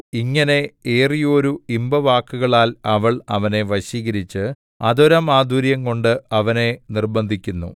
ഇങ്ങനെ ഏറിയോരു ഇമ്പവാക്കുകളാൽ അവൾ അവനെ വശീകരിച്ച് അധരമാധുര്യംകൊണ്ട് അവനെ നിർബ്ബന്ധിക്കുന്നു